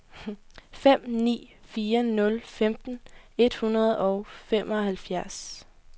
fem ni fire nul femten et hundrede og femoghalvfjerds